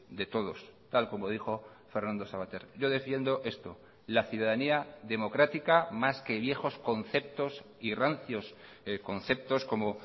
de todos tal como dijo fernando sabater yo defiendo esto la ciudadanía democrática más que viejos conceptos y rancios conceptos como